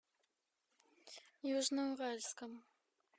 южноуральском